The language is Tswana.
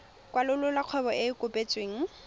kwalolola kgwebo e e kopetsweng